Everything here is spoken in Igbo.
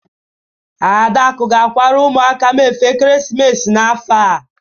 Adaku ga-akwara ụmụaka m efe ekeresimesi n'afọ a.